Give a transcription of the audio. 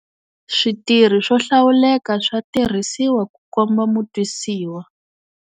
Switirhi swo hlawuleka swa tirhisiwa ku komba mutwisiwa